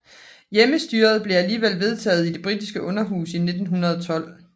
Hjemmestyret blev alligevel vedtaget i det britiske Underhus i 1912